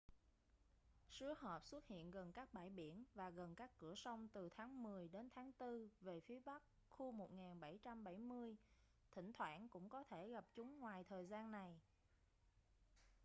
sứa hộp xuất hiện gần các bãi biển và gần các cửa sông từ tháng mười đến tháng tư về phía bắc khu 1770 thỉnh thoảng cũng có thể gặp chúng ngoài thời gian này